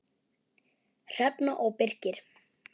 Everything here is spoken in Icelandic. Hrefna og Birkir.